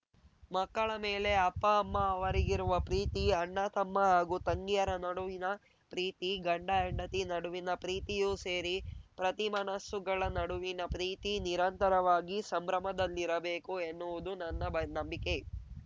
ಮಕ್ಕಳ ಮೇಲೆ ಅಪ್ಪಅಮ್ಮ ಅವರಿಗಿರುವ ಪ್ರೀತಿ ಅಣ್ಣ ತಮ್ಮ ಹಾಗೂ ತಂಗಿಯರ ನಡುವಿನ ಪ್ರೀತಿ ಗಂಡಹೆಂಡತಿ ನಡುವಿನ ಪ್ರೀತಿಯೂ ಸೇರಿ ಪ್ರತಿ ಮನಸ್ಸುಗಳ ನಡುವಿನ ಪ್ರೀತಿ ನಿರಂತರವಾಗಿ ಸಂಭ್ರಮದಲ್ಲಿರಬೇಕು ಎನ್ನುವುದು ನನ್ನ ಬಾ ನಂಬಿಕೆ